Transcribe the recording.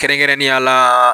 Kɛrɛnkɛrɛnnenya la.